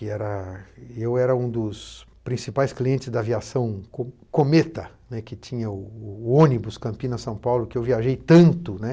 E era, e eu era um dos principais clientes da aviação Co Cometa, né, que tinha o o ônibus Campinas-São Paulo, que eu viajei tanto.